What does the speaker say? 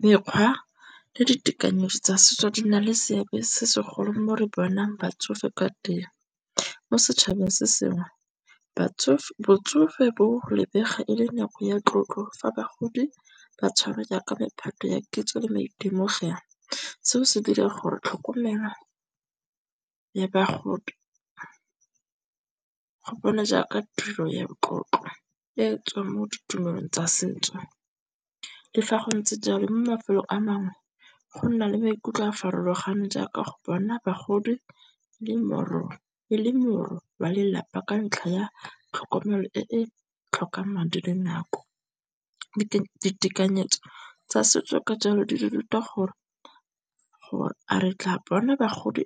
Mekgwa le ditekanyetso tsa setso di na le seabe se segolo mo re bonang batsofe ka teng. Mo setšhabeng se sengwe botsofe bo lebega e le nako ya tlotlo fa bagodi ba tshwarwa jaaka mephato ya kitso le maitemogelo. Seo se dira gore tlhokomelo ya bagodi go bona jaaka tiro ya motlotlo e tswang mo ditumelong tsa setso. Le fa go ntse jalo, mo mafelong a mangwe go nna le maikutlo a a farologaneng jaaka go bona bogodi le moro wa lelapa ka ntlha ya tlhokomelo e e tlhokang madi le nako. Ditekanyetso tsa setso ke jalo di re ruta gore a re tla bona bagodi